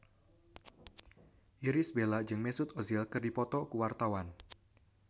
Irish Bella jeung Mesut Ozil keur dipoto ku wartawan